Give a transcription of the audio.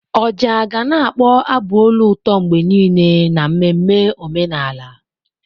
Ọjà ga na-akpọ abụ olu ụtọ mgbe niile n'ememme omenala.